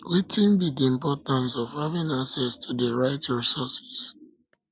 wetin wetin be di importance of having access to di right resources